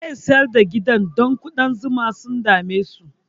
Zai sayar da gidan don ƙudan zuma sun dame su